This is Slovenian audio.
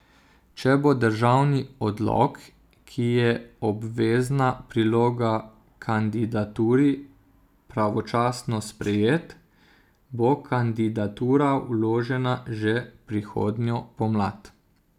Če bo državni odlok, ki je obvezna priloga kandidaturi, pravočasno sprejet, bo kandidatura vložena že prihodnjo pomlad.